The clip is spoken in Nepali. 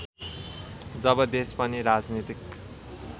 जब देश पनि राजनीतिक